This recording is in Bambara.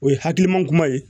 O ye hakiliman kura ye